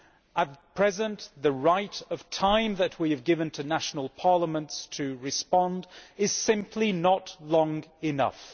At present the amount of time that we have given to national parliaments to respond is simply not long enough.